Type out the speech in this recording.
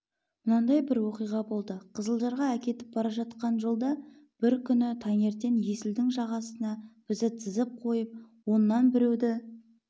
мынандай бір оқиға болды қызылжарға әкетіп баратқан жолда бір күні таңертең есілдің жағасына бізді тізіп қойып оннан біреуді